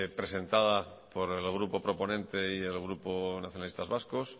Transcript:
presentada por el grupo proponente y el grupo nacionalistas vascos